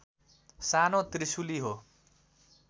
सानो त्रिशुलि हो